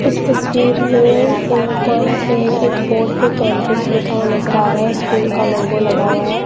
इस तस्वीर में ए कैं ए एक बोर्ड पे कैंब्रिज लिखा हुआ नज़र आ रहा है स्कूल का लोगो लगा हुआ है।